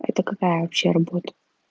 это какая вообще работа